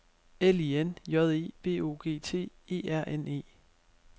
L I N J E V O G T E R N E